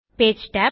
page tab